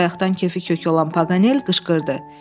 Bayaqdan kefi kök olan Paqanel qışqırdı.